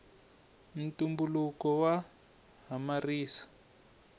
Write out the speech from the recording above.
ntumbuluko wa hamarisa